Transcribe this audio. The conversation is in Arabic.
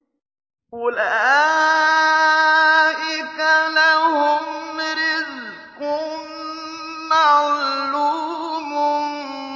أُولَٰئِكَ لَهُمْ رِزْقٌ مَّعْلُومٌ